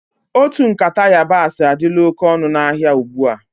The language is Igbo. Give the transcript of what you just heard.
Otu nkata yabasi adila oké ọnụ na áhiá ugbua.